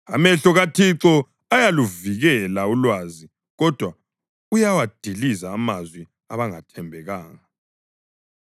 Amehlo kaThixo ayaluvikela ulwazi kodwa uyawadiliza amazwi abangathembekanga.